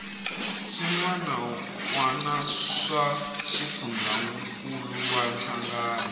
swiana wana swa xifundzankuluwa hlangano